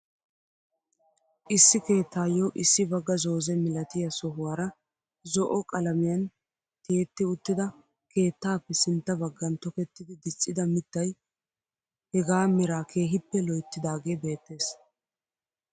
Issi keettaayo issi bagga zooze milatiyaa sohuwaara zo'o qalamiyaan tyetti uttida keettappe sintta baggan tokettidi diccida miittay hegaa meeraa kehippe loyttidagee beettees.